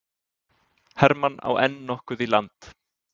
Hermann á enn nokkuð í land